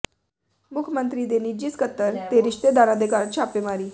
ਮੁੱਖ ਮੰਤਰੀ ਦੇ ਨਿੱਜੀ ਸਕੱਤਰ ਤੇ ਰਿਸ਼ਤੇਦਾਰਾਂ ਦੇ ਘਰ ਛਾਪੇਮਾਰੀ